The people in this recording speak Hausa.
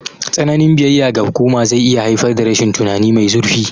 Tsananin biyayya ga hukuma zai iya haifar da rashin tunani mai zurfi.